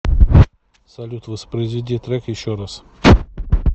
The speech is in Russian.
салют воспроизведи трек еще раз